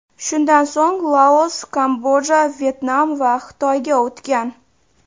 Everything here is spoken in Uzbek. Shundan so‘ng Laos, Kamboja, Vyetnam va Xitoyga o‘tgan.